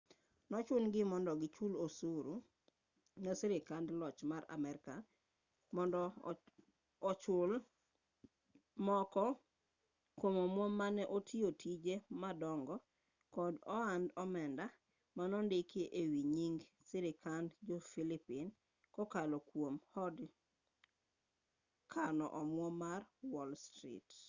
nochun gi mondo gichul osuru ne sirkand loch mar amerka mondo ochul moko kwom omwom mane otiyo tije madongo kod ohand omenda manondiki e wi nying sirkand jo-pillipine kokalo kwom od kano omwom mar wall street